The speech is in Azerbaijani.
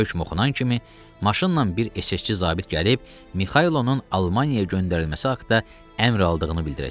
Hökum oxunan kimi maşınla bir SS-çi zabit gəlib Mixaylovun Almaniyaya göndərilməsi haqda əmr aldığını bildirəcək.